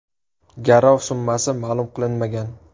Garov summasi ma’lum qilinmagan.